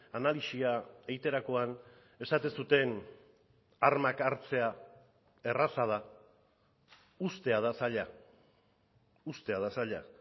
analisia egiterakoan esaten zuten armak hartzea erraza da uztea da zaila uztea da zaila